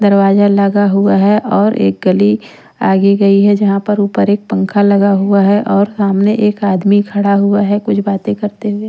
दरवाजा लगा हुआ है और एक गली आगे गई है जहाँ पर ऊपर एक पंखा लगा हुआ है और सामने एक आदमी खड़ा हुआ है कुछ बातें करते हुए--